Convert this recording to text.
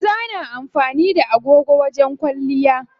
Maza na amfani da agogo wajen kwalliya.